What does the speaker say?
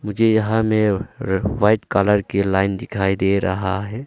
मुझे यहां में वाइट कलर की लाइन दिखाई दे रहा है।